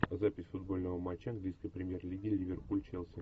запись футбольного матча английской премьер лиги ливерпуль челси